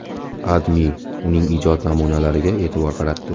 AdMe uning ijod namunalariga e’tibor qaratdi .